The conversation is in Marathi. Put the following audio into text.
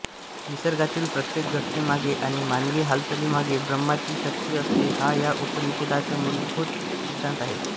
निसर्गातील प्रत्येक घटनेमागे आणि मानवी हालचालीमागे ब्रह्माची शक्ती असते हा या उपनिषदाचा मूलभूत सिद्धांत आहे